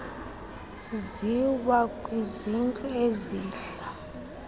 ziwa kwizintlu ezahl